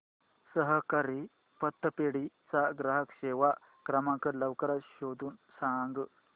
सहकारी पतपेढी चा ग्राहक सेवा क्रमांक लवकर शोधून सांग